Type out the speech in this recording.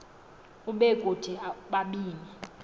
ube kuthi ubabini